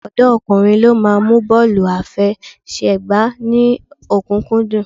Ọ̀pọ̀ ọ̀dọ́kùnrin ló máa mú bọ́ọ̀lù àfẹsẹ̀gbá ní ọ̀kúnkúndùn